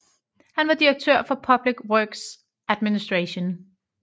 Han var direktør for Public Works Administration